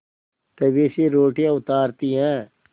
तवे से रोटियाँ उतारती हैं